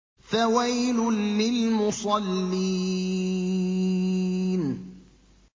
فَوَيْلٌ لِّلْمُصَلِّينَ